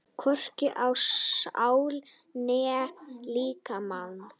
Hvorki á sál né líkama.